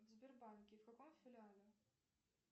в сбербанке в каком филиале